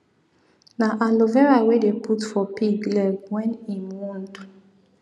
na aloe vera we dey put for pig leg wen im wound